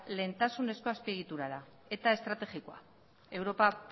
lehentasunezko azpiegitura da eta estrategikoa europa